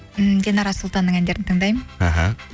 ммм динара сұлтанның әндерін тыңдаймын аха